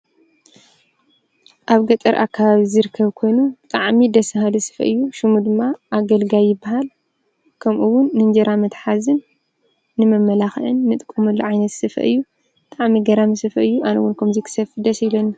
ኣብ ገጠር ኣካባቢ ዝርከብ ኮይኑ ብጣዕሚ ደስ ባሃሊ ስፈ እዩ:: ሽሙ ድማ ኣገልጋይ ይብሃል:: ከምኡ እዉን ንእንጀራ መትሓዚን ንመመላኽዒን ንጥቀመሉ ዓይነት ስፈ እዩ:: ብጣዕሚ ገራሚ ስፈ እዩ:: ኣነ እዉን ከምዚ ክሰፊ ደስ ይብለኒ::